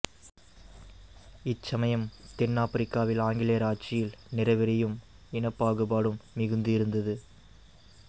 இச்சமயம் தென்னாப்பிரிக்காவில் ஆங்கிலேயர் ஆட்சியில் நிறவெறியும் இனப்பாகுபாடும் மிகுந்து இருந்தது